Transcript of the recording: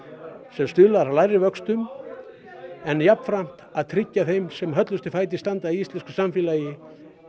sem stuðlar að lægri vöxtum en jafnframt að tryggja þeim sem að höllustum fæti standa í íslensku samfélagi